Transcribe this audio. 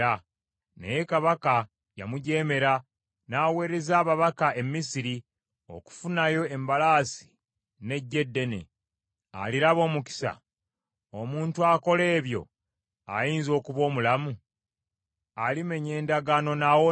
Naye kabaka yamujeemera, n’aweereza ababaka e Misiri okufunayo embalaasi n’eggye eddene. Aliraba omukisa? Omuntu akola ebyo ayinza okuba omulamu? Alimenya endagaano n’awona?’